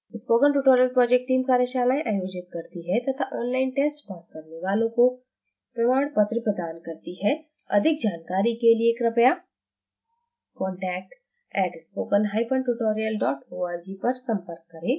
spoken tutorial project team कार्यशालाएं आयोजित करती है तथा ऑनलाइन टेस्ट पास करने वालों को प्रमाण पत्र प्रदान करती है अधिक जानकारी के लिए कृपया contact @spokentutorial org पर संपर्क करें